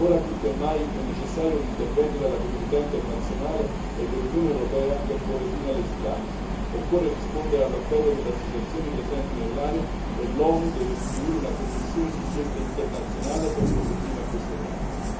Ora più che mai è necessario l'intervento della comunità internazionale e dell'Unione europea per porre fine alle stragi, occorre rispondere all'appello delle associazioni presenti nell'aria e l'ONU deve istituire una commissione d'inchiesta internazionale per porre fine a questo dramma.